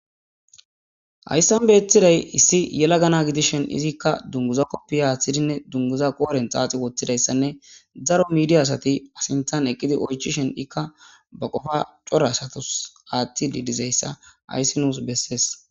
hayssan beethiday issi yela gana gidishen izikka dunguza koppi aaththidinne dunguza qooren xaaxi woththidayssanne zaro midiya asati asintan eqqidi oychishen ikka ba qofa cora asatos aaththi didizayssa ayssi nuus bessees